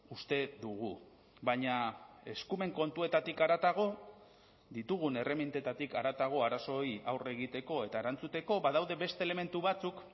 uste dugu baina eskumen kontuetatik haratago ditugun erremintetatik haratago arazoei aurre egiteko eta erantzuteko badaude beste elementu batzuk